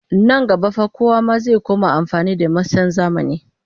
Nan gaba fa kowa ma zai koma amfani da masan zamani